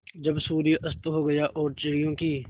जब सूर्य अस्त हो गया और चिड़ियों की